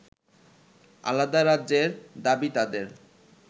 আলাদা রাজ্যের দাবি তাদের